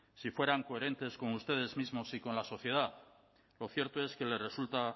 si fueran coherentes con ustedes mismos y con la sociedad lo cierto es que les resulta